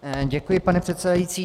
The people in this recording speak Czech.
Děkuji, pane předsedající.